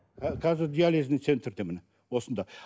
қазір диализный центрде міне осында